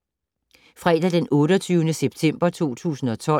Fredag d. 28. september 2012